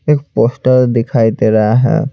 एक पोस्टर दिखाई दे रहा है।